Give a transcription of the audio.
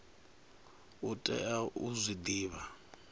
u tea u zwi divha